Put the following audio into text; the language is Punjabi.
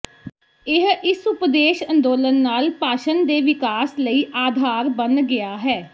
ਇਹ ਇਸ ਉਪਦੇਸ਼ ਅੰਦੋਲਨ ਨਾਲ ਭਾਸ਼ਣ ਦੇ ਵਿਕਾਸ ਲਈ ਆਧਾਰ ਬਣ ਗਿਆ ਹੈ